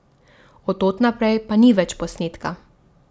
Od tod naprej pa ni več posnetka.